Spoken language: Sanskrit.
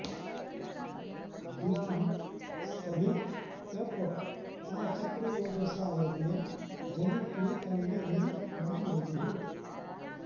द्यां स्कभित्व्यप आ चक्रुरोजसा यज्ञं जनित्वी तन्वी नि मामृजुः